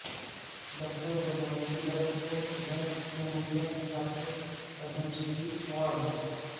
doctor Godavari Dutt کو صدر جمہوریہ کے ہاتھوں پدم شری ایوارڈ